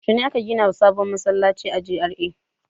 Yaushe ne aka gina sabon masallaci a GRA?